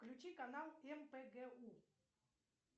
включи канал мпгу